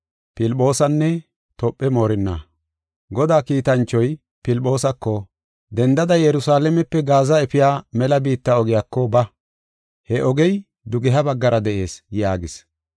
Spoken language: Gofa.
Godaa kiitanchoy Filphoosako, “Dendada Yerusalaamepe Gaaza efiya mela biitta ogiyako ba. He ogey dugeha baggara de7ees” yaagis.